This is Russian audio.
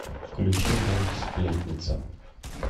включи мульт сплетница